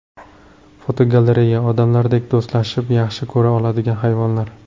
Fotogalereya: Odamlardek do‘stlashib, yaxshi ko‘ra oladigan hayvonlar.